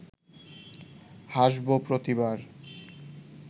হাসব প্রতিবার